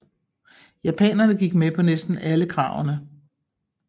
Japanerne gik med på næsten alle kravene